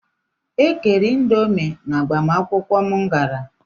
E kere indomi n'agbamakwụkwụ m gara.